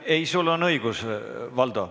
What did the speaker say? Ei pea, sul on õigus, Valdo.